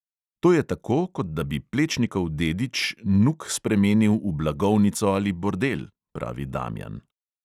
"To je tako, kot da bi plečnikov dedič nuk spremenil v blagovnico ali bordel," pravi damjan.